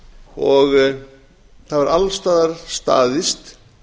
og það hefur alls staðar staðist